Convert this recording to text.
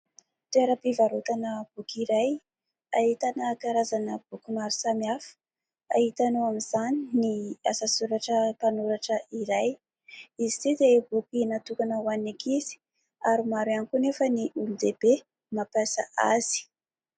Toera-pivarotana boky iray ahitana karazana boky maro samy hafa hita ao amin'izany ny asa soratra mpanoratra iray, izy ity dia boky natokana ho an'ny ankizy ary maro ihany koa nefa ny olon-dehibe mampiasa azy.